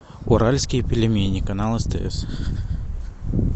уральские пельмени канал стс